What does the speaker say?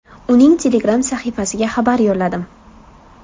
Uning Telegram-sahifasiga xabar yo‘lladim.